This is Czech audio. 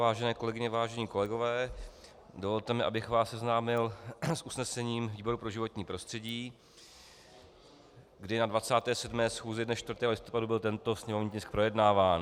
Vážené kolegyně, vážení kolegové, dovolte mi, abych vás seznámil s usnesením výboru pro životní prostředí, kdy na 27. schůzi dne 4. listopadu byl tento sněmovní tisk projednáván.